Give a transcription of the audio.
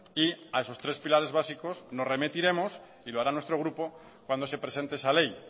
y a esos tres pilares básicos nos remitiremos y lo hará nuestro grupo cuando se presente esa ley